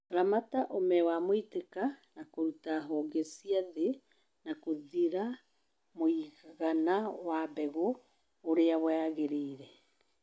Ramata ũme wa mũitĩka na kũruta honge cia thĩ na kũthĩra mũigana wa mbegũ ũria wagĩrĩire